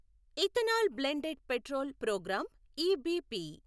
ethanol blended petrol programme EBP